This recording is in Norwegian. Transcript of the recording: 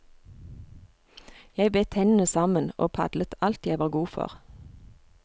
Jeg bet tennene sammen og padlet alt jeg var god for.